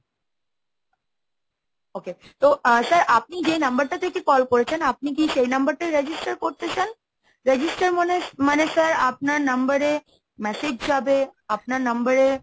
okay তো sir আপনি যেই number টা থেকে call করেছেন, আপনি কি সেই number টায় register করতে চান? register মানে মানে sir আপনার number এ massage যাবে, আপনার number এ